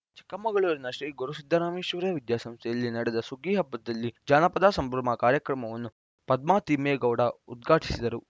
ಚಿಕ್ಕಮಗಳೂರಿನ ಶ್ರೀ ಗುರುಸಿದ್ಧರಾಮೇಶ್ವರ ವಿದ್ಯಾಸಂಸ್ಥೆಯಲ್ಲಿ ನಡೆದ ಸುಗ್ಗಿ ಹಬ್ಬದಲ್ಲಿ ಜಾನಪದ ಸಂಭ್ರಮ ಕಾರ್ಯಕ್ರಮವನ್ನು ಪದ್ಮಾ ತಿಮ್ಮೇಗೌಡ ಉದ್ಘಾಟಿಸಿದರು